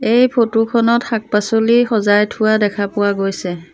এই ফটোখনত শাক-পাছলি সজাই থোৱা দেখা পোৱা গৈছে।